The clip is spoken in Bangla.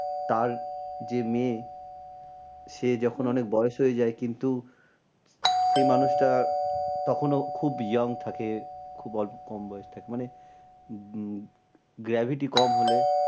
তার যে মেয়ে সে যখন অনেক বয়স হয়ে যায় কিন্তু সেই মানুষটা তখনও খুব young থাকে, খুব অল্প কম বয়স থাকে। মানে উম gravity কম হলে